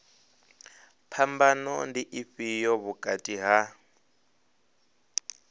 phambano ndi ifhio vhukati ha